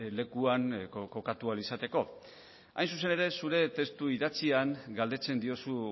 lekuan kokatu ahal izateko hain zuzen ere zure testu idatzian galdetzen diozu